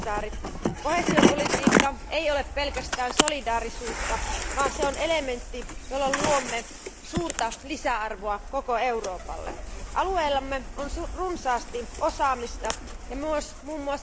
Arvoisa puhemies, arvoisat komission jäsenet, koheesiopolitiikka ei ole pelkästään solidaarisuutta, vaan se on elementti, jolla luomme suurta lisäarvoa koko Euroopalle. Alueellamme on runsaasti osaamista ja myös mm.